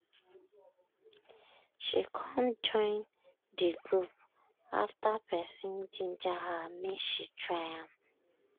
she com join de group after person ginger her make she try am.